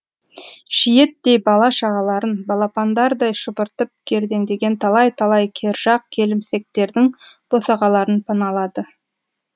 шиеттей бала шағаларын балапандардай шұбыртып кердеңдеген талай талай кержақ келімсектердің босағаларын паналады